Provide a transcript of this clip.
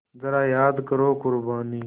ज़रा याद करो क़ुरबानी